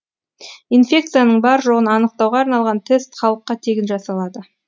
инфекцияның бар жоғын анықтауға арналған тест халыққа тегін жасалады